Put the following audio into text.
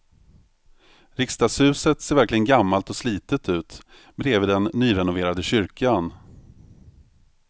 Riksdagshuset ser verkligen gammalt och slitet ut bredvid den nyrenoverade kyrkan.